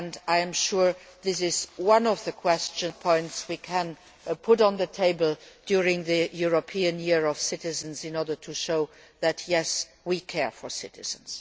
I am sure this is one of the points we can put on the table during the European Year of Citizens in order to show that, yes, we care for citizens.